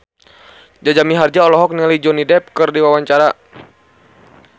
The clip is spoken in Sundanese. Jaja Mihardja olohok ningali Johnny Depp keur diwawancara